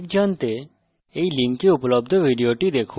spoken tutorial প্রকল্প সম্পর্কে অধিক জানতে